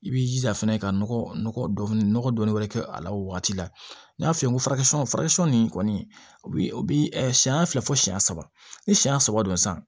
I b'i jija fɛnɛ ka nɔgɔfini nɔgɔ dɔɔni wɛrɛ kɛ a la o waati la n'i y'a f'i ye ko nin kɔni o bi o bi ɛ siɲɛ fila fo siyɛn saba ni siyɛn saba don san